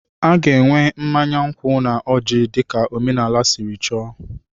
A ga-enwe mmanya nkwụ na ọjị dị ka omenala siri chọọ.